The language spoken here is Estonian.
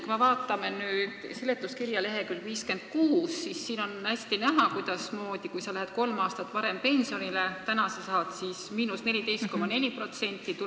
Kui me vaatame seletuskirja lk 56, siis siin on hästi näha, et kui sa lähed kolm aastat varem pensionile, siis praegu sa saad miinus 14,4%.